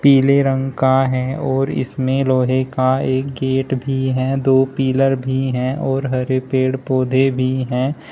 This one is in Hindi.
पीले रंग का है और इसमें लोहे का एक गेट भी है दो पिलर भी है और हरे पेड़ पौधे भी हैं।